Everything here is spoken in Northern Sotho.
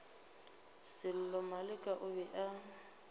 sello maleka o be a